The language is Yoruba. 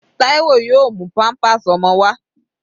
Taiwo yóò mú pampers ọmọ wá.